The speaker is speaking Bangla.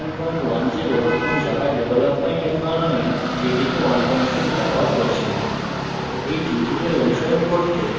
এখানে আমরা উবুন্টু সংস্করণ 1110 এবং জাভা ডেভেলপমেন্ট এনভায়রনমেন্ট jdk 16 ব্যবহার করছি